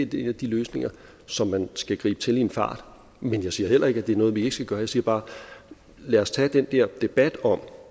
de løsninger som man skal gribe til i en fart men jeg siger heller ikke at det er noget vi ikke skal gøre jeg siger bare at lad os tage den der debat om